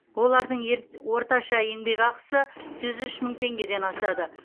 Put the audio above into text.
олардың орташа еңбекақысы жүз үш мың теңгеден асады